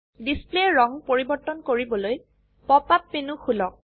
ডিসপ্লেৰ ৰঙ পৰিবৰ্তন কৰিবলৈ পপ আপ মেনু খুলক